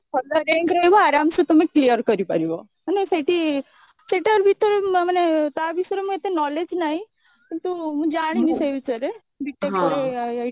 ଭଲ rank ରହିବ ଆରମସେ ତମେ clear କରିପାରିବ ମାନେ ସେଇଠି ସେଟା ଭିତରେ ମ ମାନେ ତା ବିଷୟରେ ଏତେ knowledge ନାହିଁ କିନ୍ତୁ ମୁଁ ଜାଣିନି ସେ ବିଷୟରେ B.TECH ପରେ IIT